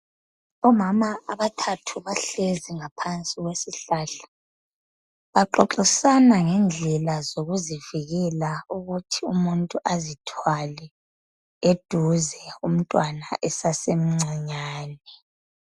Omama abathathu bahlezi ngaphansi kwesihlahla baxoxisana ngendlela zokuzivikela ukuthi umuntu azithwale eduze umtwana esasemncinyane